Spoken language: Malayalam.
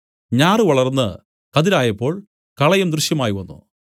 ഞാറ് വളർന്ന് കതിരായപ്പോൾ കളയും ദൃശ്യമായ് വന്നു